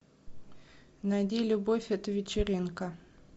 найди любовь это вечеринка